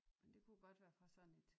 Men det kunne godt være fra sådan et